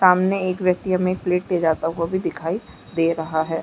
सामने एक व्यक्ति हमें एक प्लेट ले जाता हुआ भी दिखाई दे रहा है।